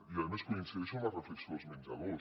i a més coincideixo en la reflexió dels menjadors